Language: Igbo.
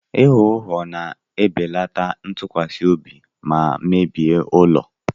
Ịgha ụgha na-ebelata ntụkwasị obi ma mebie ụlọ.